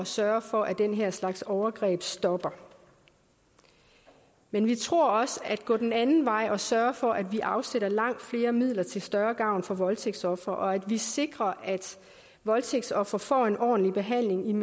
sørge for at den her slags overgreb stopper men vi tror også at gå den anden vej og sørge for at vi afsætter langt flere midler til større gavn for voldtægtsofre og at sikre at voldtægtsofre får en ordentlig behandling